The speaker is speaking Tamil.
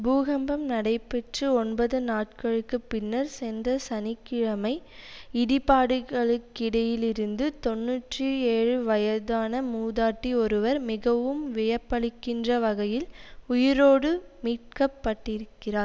பூகம்பம் நடைபெற்று ஒன்பது நாட்களுக்கு பின்னர் சென்ற சனி கிழமை இடிபாடுகளுக்கிடையிலிருந்து தொன்னூற்றி ஏழு வயதான மூதாட்டி ஒருவர் மிகவும் வியப்பளிக்கின்ற வகையில் உயிரோடு மீட்கப்பட்டிருக்கிறார்